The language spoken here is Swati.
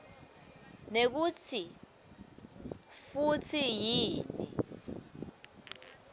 nekutsi futsi yini